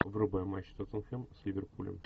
врубай матч тоттенхэм с ливерпулем